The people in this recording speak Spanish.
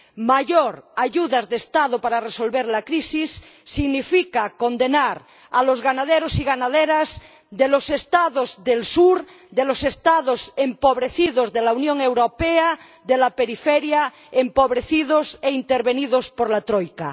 Más ayudas de Estado para resolver la crisis significa condenar a los ganaderos y ganaderas de los Estados del sur, de los Estados empobrecidos de la Unión Europea de la periferia, empobrecidos e intervenidos por la troika.